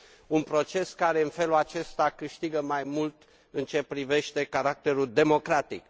un proces care, în felul acesta, câștigă mai mult în ceea ce privește caracterul democratic.